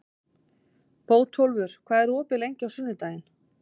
Bótólfur, hvað er opið lengi á sunnudaginn?